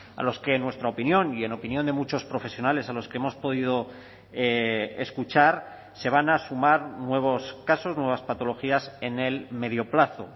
a los que en nuestra opinión y en opinión de muchos profesionales a los que hemos podido escuchar se van a sumar nuevos casos nuevas patologías en el medio plazo